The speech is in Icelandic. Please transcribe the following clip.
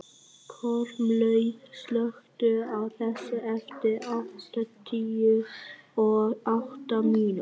Kormlöð, slökktu á þessu eftir áttatíu og átta mínútur.